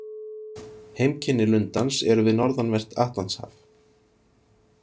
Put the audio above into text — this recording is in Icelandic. Heimkynni lundans eru við norðanvert Atlantshaf.